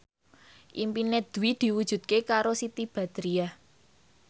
impine Dwi diwujudke karo Siti Badriah